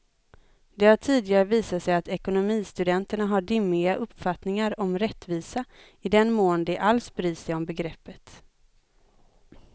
Det har tidigare visat sig att ekonomistudenterna har dimmiga uppfattningar om rättvisa, i den mån de alls bryr sig om begreppet.